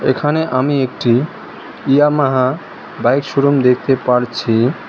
এখানে আমি একটি ইয়ামাহা বাইক শোরুম দেখতে পারছি।